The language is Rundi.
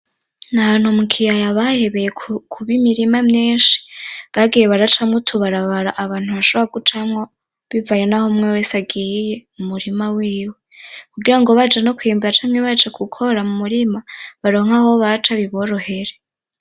Nahantu mukiyaya bahebeye kuba imirima myinshi , bagiye baracamwo utubarabara abantu bashobora gucamwo bivanye naho umwe wese agiye mumurima wiwe, kugirango baje no kwimba canke baje gukora mumurima baronke aho baca biborohere .